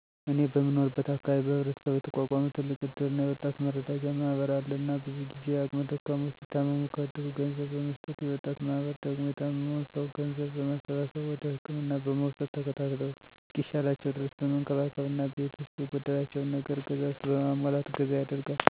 እኔ በምኖርበት አካባቢ በህብረተሰቡ የተቋቋመ ትልቅ እድርና የወጣት መረዳጃ ማህበር አለ እና ብዙ ጊዜ አቅመ ደካሞች ሲታመሙ -ከእድሩ ገንዘብ በመስጠት የወጣቱ ማህበር ደግሞ የታመመዉን ሰዉ ገንዘብ በማሰባሰብ ወደ ህክምና በመዉሰድ ተከታትለዉ እስኪሻላቸዉ ድረስ በመንከባከብ እና ቤት ዉስጥ የጎደላቸውን ነገር ገዛዝቶ በማሟላት እገዛ ያደርጋል